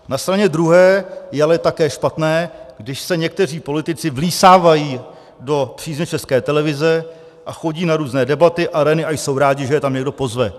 Na straně druhé je ale také špatné, když se někteří politici vlísávají do přízně České televize a chodí na různé debaty, arény a jsou rádi, že je tam někdo pozve.